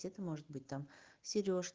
может быть там сереж